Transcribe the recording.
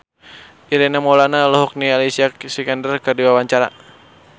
Ireng Maulana olohok ningali Alicia Vikander keur diwawancara